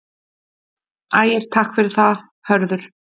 Ægir: Takk fyrir það Hörður.